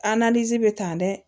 bɛ tan dɛ